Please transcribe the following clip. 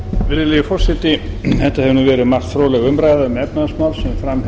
um margt fróðleg umræða um efnahagsmál sem fram